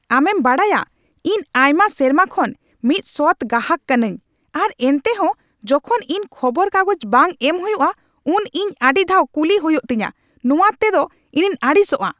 ᱟᱢᱮᱢ ᱵᱟᱰᱟᱭ, ᱤᱧ ᱟᱭᱢᱟ ᱥᱮᱨᱢᱟ ᱠᱷᱚᱱ ᱢᱤᱫ ᱥᱚᱛ ᱜᱟᱦᱟᱠ ᱠᱟᱹᱱᱟᱹᱧ , ᱟᱨ ᱮᱱᱴᱮᱦᱚᱸ ᱡᱚᱠᱷᱚᱱ ᱤᱧ ᱠᱷᱚᱵᱚᱨ ᱠᱟᱜᱚᱡ ᱵᱟᱝ ᱮᱢ ᱦᱩᱭᱩᱜᱼᱟ ᱩᱱ ᱤᱧ ᱟᱹᱰᱤ ᱫᱷᱟᱣ ᱠᱩᱞᱤ ᱦᱩᱭᱩᱜ ᱛᱤᱧᱟᱹ ᱱᱚᱣᱟ ᱛᱮᱫᱚ ᱤᱧᱤᱧ ᱟᱹᱲᱤᱥᱚᱜᱼᱟ ᱾